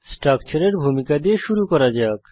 স্ট্রাকচারের ভূমিকা দিয়ে শুরু করা যাক